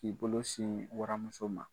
K'i bolo sin waramuso ma.